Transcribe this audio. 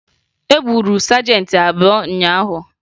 E gburu sajentị abụọ ụnyaahụ